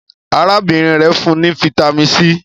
arábìnrin rẹ fún ní Vitamin c.